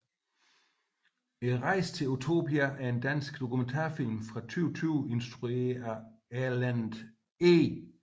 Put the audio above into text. Rejsen til Utopia er en dansk dokumentarfilm fra 2020 instrueret af Erlend E